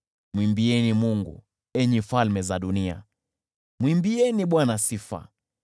Mwimbieni Mungu, enyi falme za dunia, mwimbieni Bwana sifa,